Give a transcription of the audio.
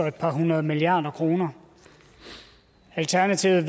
et par hundrede milliarder kroner alternativet